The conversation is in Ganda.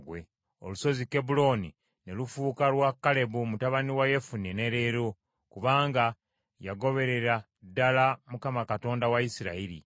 Olusozi Kebbulooni ne lufuuka lwa Kalebu mutabani wa Yefune ne leero, kubanga yagoberera ddala Mukama Katonda wa Isirayiri.